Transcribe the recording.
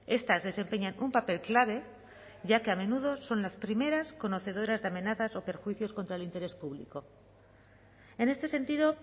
estas desempeñan un papel clave ya que a menudo son las primeras conocedoras de amenazas o perjuicios contra el interés público en este sentido